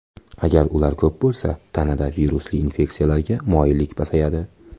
Agar ular ko‘p bo‘lsa, tanada virusli infeksiyalarga moyillik pasayadi.